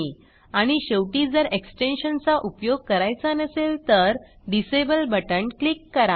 आणि शेवटी जर एक्सटेन्शन चा उपयो ग करायचा नसेल तर डिसेबल बटण क्लिक करा